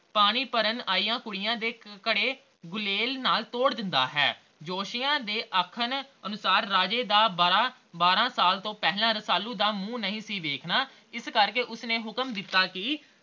ਪਾਣੀ ਭਰਨ ਆਈਆਂ ਕੁੜੀਆਂ ਦੇ ਘੜੇ ਗੁਲੇਲ ਨਾਲ ਤੋਰ ਦਿੰਦਾ ਹੈ l ਜੋਤਸ਼ੀਆਂ ਦੇ ਆਖਣ ਅਨੁਸਾਰ ਰਾਜੇ ਦਾ ਬਾਰਹ ਸਾਲ ਤੋਂ ਪਹਿਲਾ ਰਸਾਲੂ ਦਾ ਮੂੰਹ ਨਹੀਂ ਵੇਖਣਾ ਇਸ ਕਰਕੇ ਉਸਨੇ ਹੁਕਮ ਦਿੱਤਾ ਕੇ